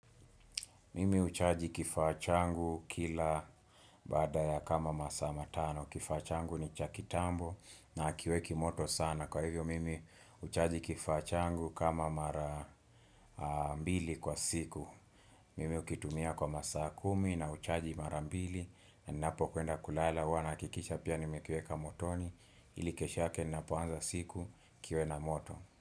Mimi uchaji kifaa changu kila baada ya kama masaa matano. Kifaa changu ni cha kitambo na akiweki moto sana. Kwa hivyo, mimi uchaji kifachangu kama mara mbili kwa siku. Mimi ukitumia kwa masaa kumi na uchaji mara mbili. Napo kuenda kulala, huwawa nahakikisha pia nimekiweka motoni. Ili kesho yake napoanza siku, kiwe na moto.